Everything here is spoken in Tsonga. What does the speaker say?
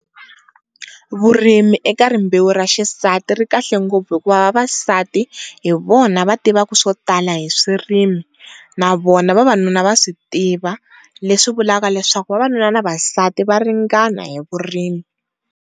Vurimi eka rimbewu ra xisati ri kahle ngopfu hikuva vavasati hi vona va tivaka swo tala hi swirimi na vona vavanuna va swi tiva leswi vulaka leswaku vavanuna na vavasati va ringana hi vurimi.